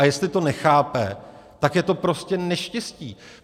A jestli to nechápe, tak je to prostě neštěstí.